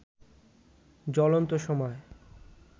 জ্বলন্ত সময়